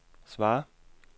svar